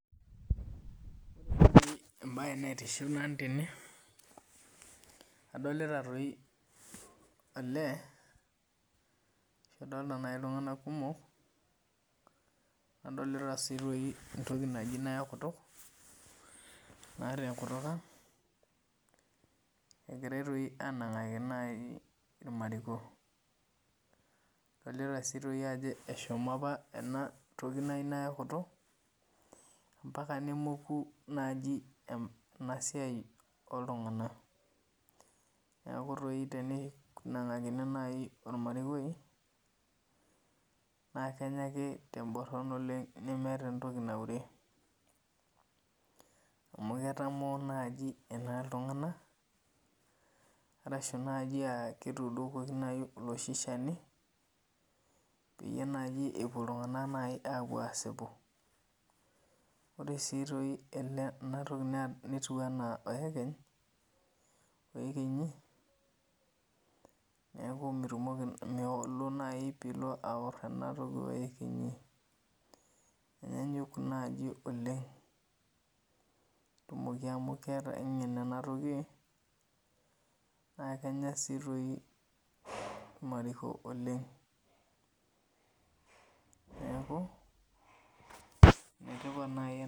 Ebae naitiship nanu tene, adolita toi olee, adolta nai iltung'anak kumok, nadolita si toi entoki naji nayok kutuk, naa tenkutuk ang, egirai toi anang'aki nai irmariko. Adolita si toi ajo eshomo apa enatoki naji nayok kutuk, mpaka nemoku naji enasiai oltung'anak. Neeku toi tenenang'akini nai ormarikoi, na kenya ake teborran oleng nemeeta entoki naure. Amu ketamoo naji ena iltung'anak, arashu naji ah ketuudokoki nai oloshi shani, peyie naji epuo iltung'anak nai apuo asipu. Ore si toi enatoki netiu enaa oekeny, oekenyi, neeku mitumoki milo nai pilo aor enatoki oekenyi. Enyanyuk naji oleng. Netumoki amu keeta aing'en enatoki, na kenya si toi irmariko oleng. Neeku, enetipat nai